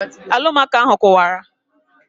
Alụmaco ahụ kụwara